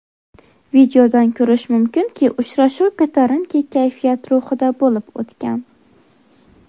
Videodan ko‘rish mumkinki, uchrashuv ko‘tarinki kayfiyat ruhida bo‘lib o‘tgan.